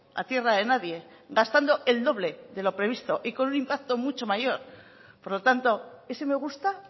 a tierra de nadie gastando el doble de lo previsto y con un impacto mucho mayor por lo tanto ese me gusta